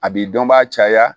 A bi dɔnbaa caya